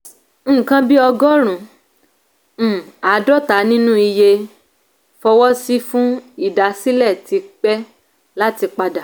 "nǹkan bí ọgọ́rùn-ún àádọ́ta nínú iye fọwọ́ sí fún ìdásílẹ̀ ti pẹ́ láti padà"